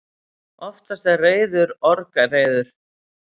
Oftast er reiður orgreiður.